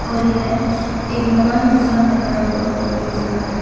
और यह एक मकान के सामने खड़ा होकर फोटो खींच रहा है।